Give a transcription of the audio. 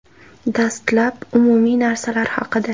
Dastlab, umumiy narsalar haqida.